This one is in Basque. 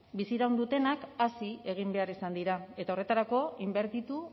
biziraun dutenak hazi egin behar izan dira eta horretarako inbertitu